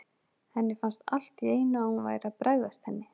Henni fannst allt í einu að hún væri að bregðast henni.